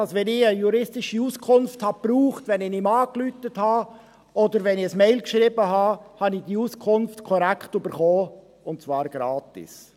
Wenn ich eine juristische Auskunft brauchte, wenn ich ihn anrief oder eine Mail schrieb, erhielt ich die Auskunft korrekt, und zwar gratis.